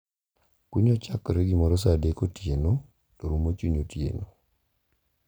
Kunyo chakore gimoro sa adek otieno to rumo chuny otieno.